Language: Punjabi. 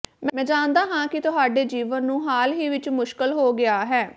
ਮੈਂ ਜਾਣਦਾ ਹਾਂ ਕਿ ਤੁਹਾਡੇ ਜੀਵਨ ਨੂੰ ਹਾਲ ਹੀ ਵਿੱਚ ਮੁਸ਼ਕਲ ਹੋ ਗਿਆ ਹੈ